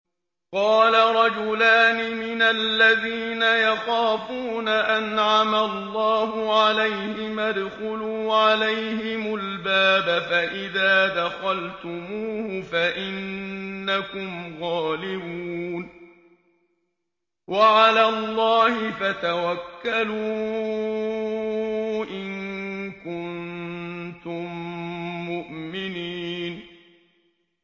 قَالَ رَجُلَانِ مِنَ الَّذِينَ يَخَافُونَ أَنْعَمَ اللَّهُ عَلَيْهِمَا ادْخُلُوا عَلَيْهِمُ الْبَابَ فَإِذَا دَخَلْتُمُوهُ فَإِنَّكُمْ غَالِبُونَ ۚ وَعَلَى اللَّهِ فَتَوَكَّلُوا إِن كُنتُم مُّؤْمِنِينَ